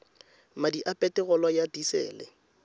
madi a peterolo ya disele